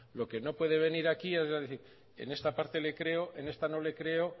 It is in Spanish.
lo que no puede venir aquí es a decir en esta parte le creo en esta no le creo